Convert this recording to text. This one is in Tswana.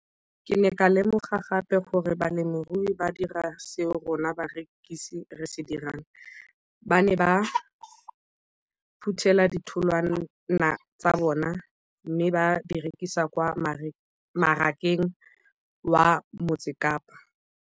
Ke ne ka lemoga gape gore balemirui ba dira seo rona barekisi re se dirang, ba ne ba phuthela ditholwana tsa bona mme ba di rekisa kwa marakeng wa Motsekapa.